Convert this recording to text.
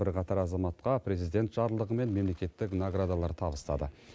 бірқатар азаматқа президент жарлығымен мемлекеттік наградалар табыстады